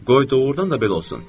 Qoy doğurdan da belə olsun.